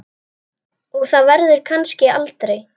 Og það verður kannski aldrei.